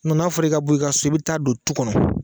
N'a fɔra i ka bɔ i ka so i bɛ taa don tu kɔnɔ